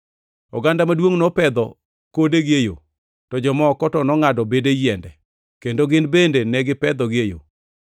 Oganda maduongʼ nopedho kodegi e yo, to jomoko to nongʼado bede yiende, kendo gin bende negi pedhogi e yo.